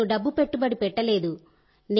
నేను డబ్బు పెట్టుబడి పెట్టలేదు